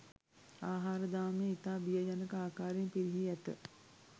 ආහාර දාමය ඉතා බිය ජනක ආකාරයෙන් පිරිහී ඇත!